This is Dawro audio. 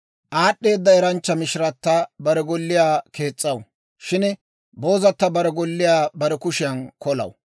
Aad'd'eeda eranchcha mishirata bare golliyaa kees's'aw; shin boozata bare golliyaa bare kushiyan kolaw.